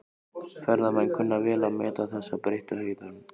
Ferðamenn kunna vel að meta þessa breyttu hegðun.